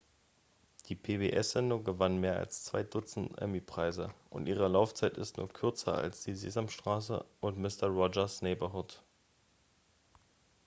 die pbs-sendung gewann mehr als zwei dutzend emmy-preise und ihre laufzeit ist nur kürzer als die sesamstraße und mister roger's neighborhood